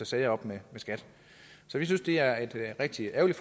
sager op med skat så vi synes det er et rigtig ærgerligt